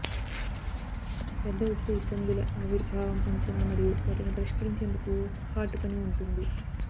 పెద్ద ఉప్పు ఇబ్బందుల ఆవిర్భావం అంచనా మరియు వాటిని పరిష్కరించేందుకు హార్డ్ పని ఉంటుంది